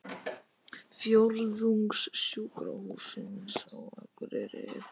Fjórðungssjúkrahússins á Akureyrar.